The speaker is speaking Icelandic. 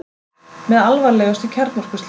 Með alvarlegustu kjarnorkuslysum